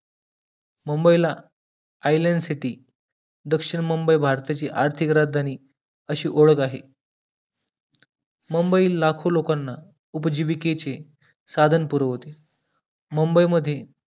मुंबई ला island city दक्षिण मुंबई भारताची आर्थिक राजधानी अशी ओळ ख आहे मुंबई लाखो लोकांना उपजीविकेचे साधन पुरवते मुंबई मध्ये